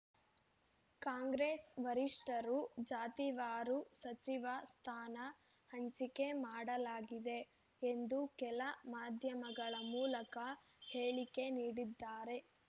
ಕಾಂಗ್ರೆಸ್‌ ವರಿಷ್ಠರು ಜಾತಿವಾರು ಸಚಿವ ಸ್ಥಾನ ಹಂಚಿಕೆ ಮಾಡಲಾಗಿದೆ ಎಂದು ಕೆಲ ಮಾಧ್ಯಮಗಳ ಮೂಲಕ ಹೇಳಿಕೆ ನೀಡಿದ್ದಾರೆ